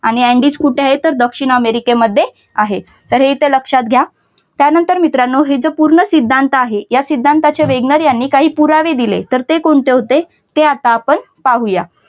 आणि अँडीज कुठे आहेत तर दक्षिण अमेरिकेमध्ये आहेत. तर हे इथे लक्षात घ्या. त्यानंतर मित्रांनो हे तर पूर्ण सिद्धांत आहे. या सिद्धांताचे वॅगनार आणि काही पुरावे दिले तर ते कोणते होते हे आता आपण आता पाहू या.